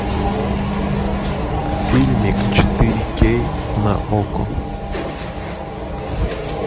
фильмик четыре кей на окко